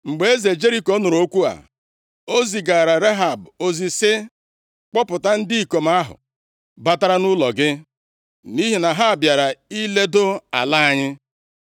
Mgbe eze Jeriko nụrụ okwu a, o zigaara Rehab ozi sị, “Kpọpụta ndị ikom ahụ batara nʼụlọ gị nʼihi na ha bịara iledo ala anyị.”